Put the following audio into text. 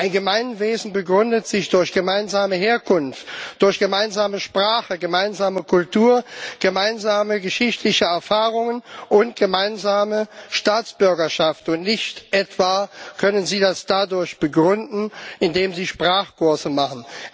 Ein Gemeinwesen begründet sich durch gemeinsame Herkunft, durch gemeinsame Sprache, gemeinsame Kultur, gemeinsame geschichtliche Erfahrungen und gemeinsame Staatsbürgerschaft, und Sie können das nicht etwa dadurch begründen, indem Sie Sprachkurse machen.